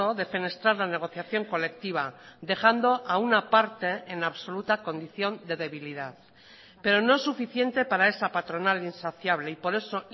defenestrar la negociación colectiva dejando a una parte en absoluta condición de debilidad pero no es suficiente para esa patronal insaciable y por eso